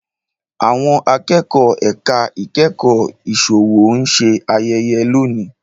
Àwọn Akẹ́kọ̀ọ́ ẹ̀ka ìkẹ́kọ̀ọ́ ìsòwò ń ṣe ayẹyẹ lónìí